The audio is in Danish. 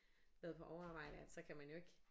Være på overarbejde at så kan man jo ikke